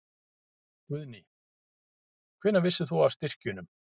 Guðný: Hvenær vissir þú af styrkjunum?